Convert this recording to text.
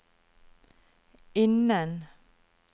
innen